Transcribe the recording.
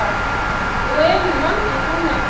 Og eru margir búnir að kaupa?